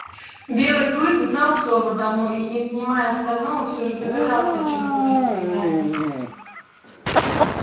белый клык знал слово домой и не понимая остального всё же догадался о чём говорит хозяин